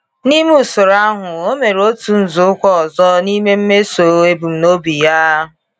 N’ime usoro ahụ, ọ mere otu nzọụkwụ ọzọ n’ime mmezu ebumnobi ya.